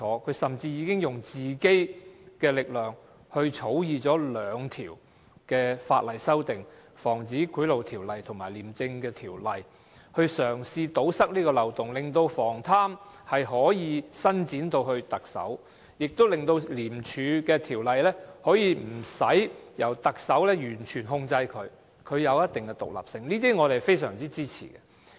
他甚至以自己的力量，就《防止賄賂條例》及《廉政公署條例》這兩項法例草擬了修訂，嘗試堵塞這漏洞，令防貪可以伸展至特首，亦令《廉政公署條例》無須完全受特首控制，令它有一定的獨立性，我們是非常支持的。